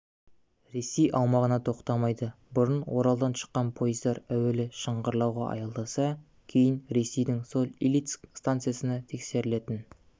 ресей аумағында тоқтамайды бұрын оралдан шыққан поездар әуелі шыңғырлауға аялдаса кейін ресейдің соль-илецк стансасында тексерілетін